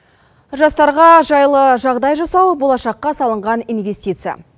жастарға жайлы жағдай жасау болашаққа салынған инвестиция